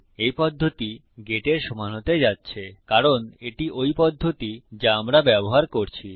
এই পদ্ধতি গেট এর সমান হতে যাচ্ছে কারণ এটি ওই পদ্ধতি যা আমরা ব্যবহার করছি